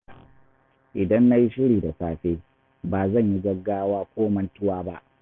Idan na yi shiri da safe, ba zan yi gaggawa ko mantuwa ba.